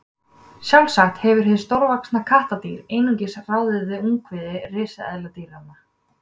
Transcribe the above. sjálfsagt hefur hið stórvaxna kattardýr einungis ráðið við ungviði risaletidýranna